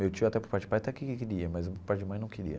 Meu tio até por parte de pai até queria, mas por parte de mãe não queria.